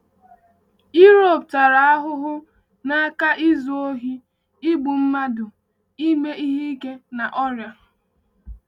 Europe tara ahụhụ n’aka izu ohi, igbu mmadụ, ime ihe ike na ọrịa.